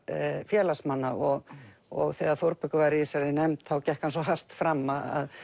félagsmanna og og þegar Þórbergur var í þessari nefnd þá gekk hann svo hart fram að